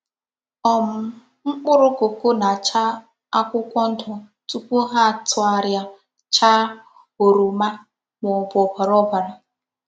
um Mkpụrụ kọkó na-acha akwụkwọ ndụ tupu ha tụgharịa chàà oroma ma ọ bụ ọbara ọbara.